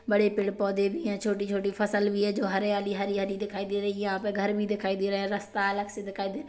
बड़े पेड़-पौधे भी है छोटी-छोटी फसल भी है हरयाली-हरयाली दिखाई दे रही है यहाँ पे घर भी दिखाई दे रहे है रस्ता अलग से दिखाई दे रहा --